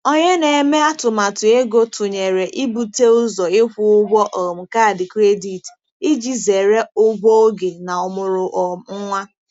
Onye na-eme atụmatụ ego tụnyere ibute ụzọ ịkwụ ụgwọ um kaadị kredit iji zere ụgwọ oge na ọmụrụ um nwa.